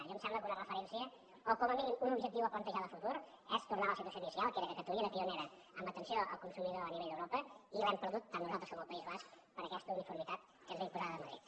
jo em sembla que una referència o com a mínim un objectiu a plantejar de futur és tornar a la situació inicial que era que catalunya era pionera en atenció al consumidor a nivell d’europa i l’hem perdut tant nosaltres com el país basc per aquesta uniformitat que ens ve imposada de madrid